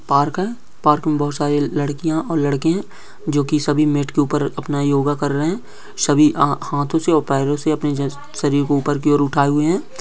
Park है park मे बहुत सारे लड़किया और लड़के है | जोकी सभी मेट के ऊपर अपना योगा कर रहे है | सभी अ हाथों से और पैरो से अपने जिस शरीर को ऊपर की और उठाए हुए है।